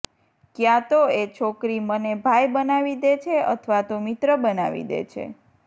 ક્યાં તો એ છોકરી મને ભાઇ બનાવી દે છે અથવા તો મિત્ર બનાવી દે છે